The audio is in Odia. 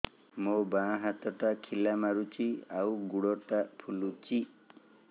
ମୋ ବାଆଁ ହାତଟା ଖିଲା ମାରୁଚି ଆଉ ଗୁଡ଼ ଟା ଫୁଲୁଚି